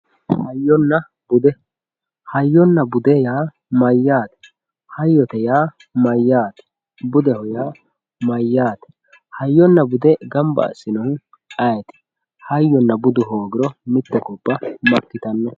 hayyonna bude hayyonnna bude yaa mayyaate hayyote yaa mayyaate budeho yaa mayyaate hayyonna bude ganba assinohu ayeeti hayyonna budu hoogiro mitte gobba makkitanno